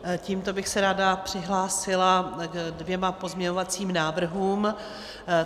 Tímto bych se ráda přihlásila ke dvěma pozměňovacím návrhům.